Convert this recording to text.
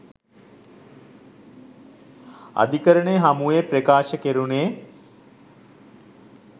අධිකරණය හමුවේ ප්‍රකාශ කෙරුණේ